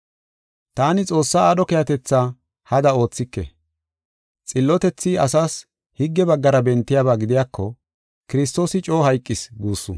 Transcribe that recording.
Taani Xoossaa aadho keehatetha hada oothike. Xillotethi asas higge baggara bentiyaba gidiyako, Kiristoosi coo hayqis guussu.